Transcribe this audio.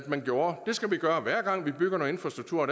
man gjorde det skal vi gøre hver gang vi bygger noget infrastruktur